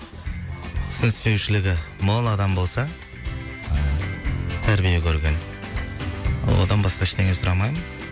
түсініспешілігі мол адам болса тәрбие көрген одан басқа ештеңе сұрамаймын